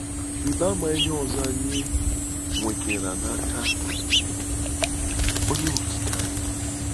Rịba ama ihe ọzọ anyị nwetara n'aka Onye Okike anyị.